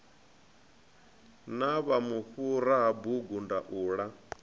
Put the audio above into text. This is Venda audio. na vhufhura ha bugu ndaula